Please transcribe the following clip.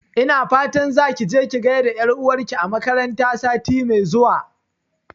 Ina fata zaki je ki gaida ƴar'uwar ki a makaranta sati mai zuwa